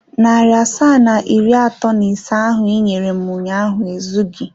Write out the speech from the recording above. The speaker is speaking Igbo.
Narị asaa na iri atọ na ise ahụ i nyere m ụnyaahụ ezughị.